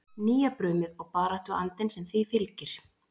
Nýjabrumið og baráttuandann sem því fylgir?